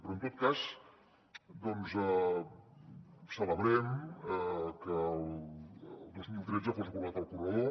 però en tot cas celebrem que el dos mil tretze fos aprovat el corredor